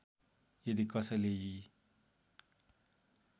यदि कसैले यी